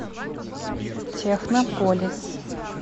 технополис